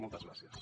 moltes gràcies